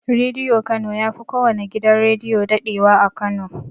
Rediyo kano yafi kowanne gidan rediyo daɗewa a kano